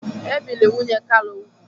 E biri nwunye Kalu úgwù.